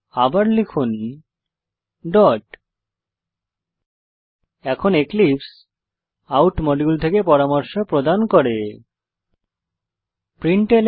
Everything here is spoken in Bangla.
আবার লিখুন ডট এখন এক্লিপসে আউট মডিউল থেকে পরামর্শ প্রদান করবে